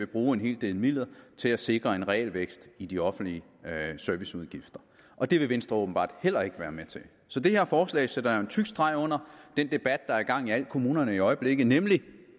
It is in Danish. bruge en hel del midler til at sikre en realvækst i de offentlige serviceudgifter og det vil venstre åbenbart heller ikke være med til så det her forslag sætter jo en tyk streg under den debat der er i gang i alle kommunerne i øjeblikket nemlig den